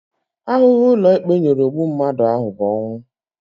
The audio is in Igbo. Ahụhụ ụlọikpe nyere ogbu mmadụ ahụ bụ ọnwụ